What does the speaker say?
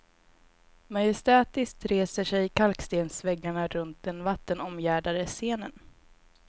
Majestätiskt reser sig kalkstensväggarna runt den vattenomgärdade scenen.